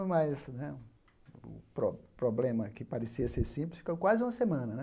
O pro problema que parecia ser simples ficou quase uma semana.